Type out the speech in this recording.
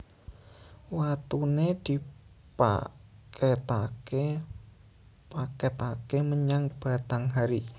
Watune dipaketake menyang Batanghari